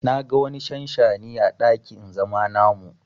Na ga wani shanshani à dakin zama namu.